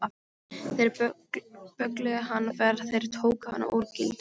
Þeir böggluðu hana þegar þeir tóku hana úr gildrunni.